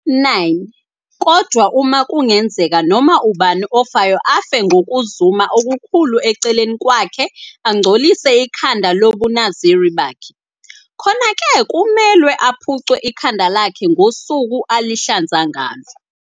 9 Kodwa uma kungenzeka noma ubani ofayo afe ngokuzuma okukhulu eceleni kwakhe angcolise ikhanda lobuNaziri bakhe, khona-ke kumelwe aphuce ikhanda lakhe ngosuku azihlanza ngalo.